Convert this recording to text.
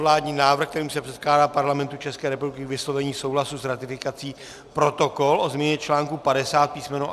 Vládní návrh, kterým se předkládá Parlamentu České republiky k vyslovení souhlasu s ratifikací Protokol o změně článku 50 písm.